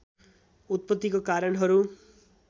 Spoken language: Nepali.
उत्पत्तिको कारणहरू